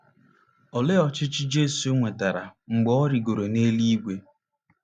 Olee ọchịchị Jesu nwetara mgbe o rịgoro n’eluigwe?